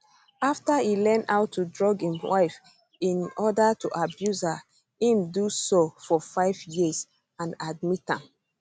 after e learn how to drug im wife in oda to abuse her im do so for five years and admit am